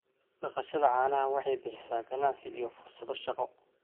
Dhaqashada caanaha waxay bixisaa ganacsi iyo fursado shaqo.